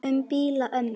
Um blíða ömmu.